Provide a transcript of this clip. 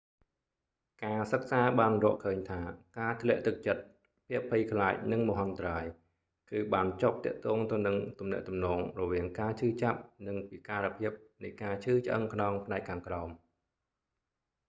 ការសិក្សាបានរកឃើញថា ការធ្លាក់ទឹកចិត្ត ភាពភ័យខ្លាចនឹងមហន្តរាយ គឺបានជាប់ទាក់ទងទៅនឹងទំនាក់ទំនងរវាងការឈឺចាប់ និងពិការភាពនៃការឈឺឆ្អឹងខ្នងផ្នែកខាងក្រោម